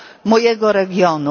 mojego regionu.